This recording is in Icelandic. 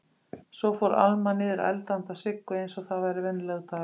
Svo fór Alma niður að elda handa Siggu einsog það væri venjulegur dagur.